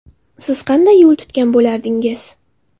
Siz qanday yo‘l tutgan bo‘lardingiz?